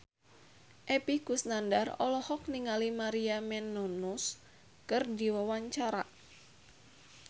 Epy Kusnandar olohok ningali Maria Menounos keur diwawancara